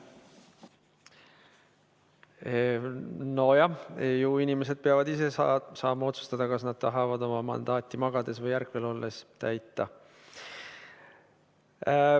Nojah, ju inimesed peavad ise saama otsustada, kas nad tahavad oma mandaati magades või ärkvel olles täita.